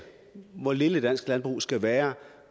hvor lille dansk landbrug skulle være